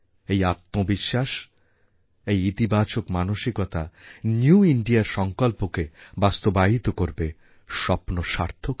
এই আত্মবিশ্বাস এই ইতিবাচক মানসিকতা নিউ Indiaর সঙ্কল্পকে বাস্তবায়িত করবে স্বপ্ন সার্থক হবে